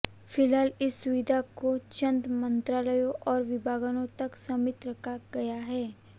फिलहाल इस सुविधा को चंद मंत्रालयों और विभागों तक सीमित रखा गया है